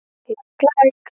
Læk læk.